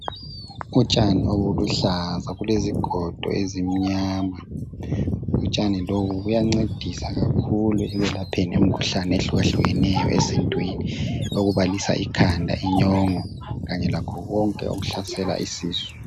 Utshani obuluhlaza, bulezigodo ezimnyama. Utshani lobu buyancedisa kakhulu, ekwelapheni imikhuhlane ehlukahlukeneyo, esintwini. Okubalisa ikhanda, inyongo. Kanye lakho konke okuhlasela isisu.